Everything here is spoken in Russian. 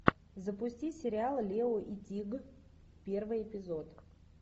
запусти сериал лео и тиг первый эпизод